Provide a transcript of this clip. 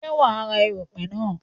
Ṣé wa ra èrùpè náà?